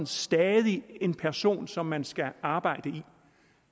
stadig en person som man skal arbejde med